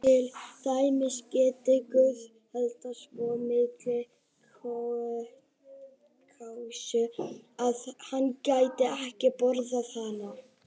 Til dæmis: Gæti Guð eldað svo mikla kjötkássu að hann gæti ekki borðað hana?